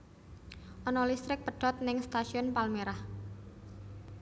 Ono listrik pedhot ning Stasiun Palmerah